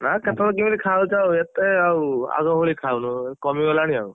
ନାଁ କେତେବେଳେ କେମିତି ଖାଉଛୁ ଏତେ ଆଉ ଆଗ ଭଳି ଖାଉନୁ କମିଗଲାଣି ଆଉ।